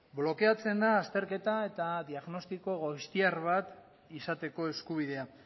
blokeatzen da azterketa eta diagnostiko goiztiar bat izateko eskubidea